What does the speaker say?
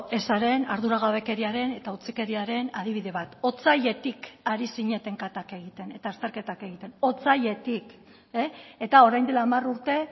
ezaren arduragabekeriaren eta utzikeriaren adibide bat otsailetik ari zineten katak egiten eta azterketak egiten otsailetik eta orain dela hamar urte